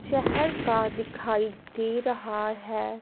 शहर का दिखाई दे रहा है।